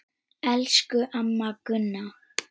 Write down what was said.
Elsku amma Gunna.